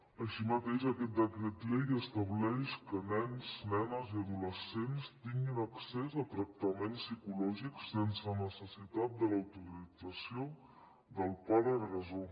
així mateix aquest decret llei estableix que nens nenes i adolescents tinguin accés a tractaments psicològics sense necessitat de l’autorització del pare agressor